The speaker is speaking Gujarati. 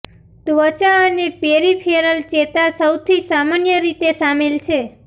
ત્વચા અને પેરિફેરલ ચેતા સૌથી સામાન્ય રીતે સામેલ છે